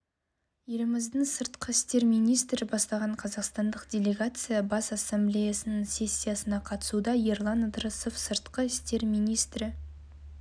еліміздің сыртқы істер министрі бастаған қазақстандық делегация бас ассамблеясының сессиясына қатысуда ерлан ыдырысов сырқы істер министрі